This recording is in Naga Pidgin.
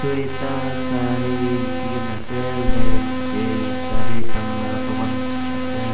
sweta saree likhikaena ase left tae sare khan laga dukan ase.